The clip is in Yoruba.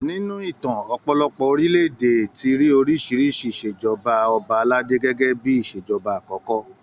Nínú ìtàn, ọ̀pọ̀lọpọ̀ orílẹ̀-èdè ti rí oríṣi ìṣèjọba ọba aládé gẹgẹ bíi ìṣèjọba àkọ́kọ́